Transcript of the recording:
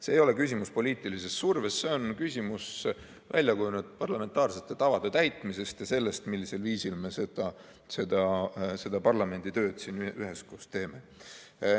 See ei ole küsimus poliitilisest survest, see on küsimus väljakujunenud parlamentaarsete tavade täitmisest ja sellest, millisel viisil me seda parlamendi tööd siin üheskoos teeme.